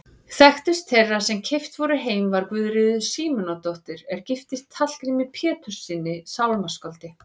Þekktust þeirra sem keypt voru heim var Guðríður Símonardóttir er giftist Hallgrími Péturssyni sálmaskáldi.